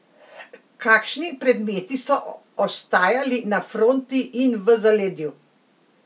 Kakšni predmeti so ostajali na fronti in v zaledju?